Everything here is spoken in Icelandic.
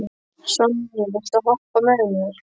Sonný, viltu hoppa með mér?